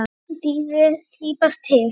Liðið er að slípast til.